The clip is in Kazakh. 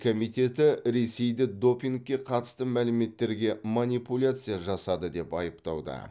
комитеті ресейді допингке қатысты мәліметтерге манипуляция жасады деп айыптауда